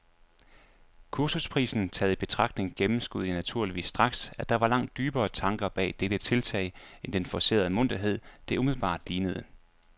Kursusprisen taget i betragtning gennemskuede jeg naturligvis straks, at der var langt dybere tanker bag dette tiltag end den forcerede munterhed, det umiddelbart lignede.